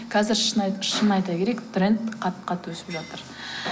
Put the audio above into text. қазір шын айта керек тренд қатты қатты өсіп жатыр